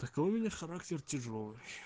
такой у меня характер тяжёлый